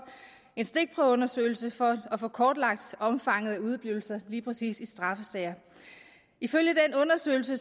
en stikprøveundersøgelse for at få kortlagt omfanget af udeblivelser lige præcis straffesager ifølge den undersøgelse